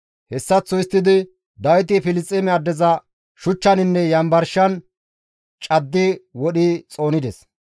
Hessaththo histtidi Dawiti Filisxeeme addeza shuchchaninne yanbarshan caddi wodhi xoonides.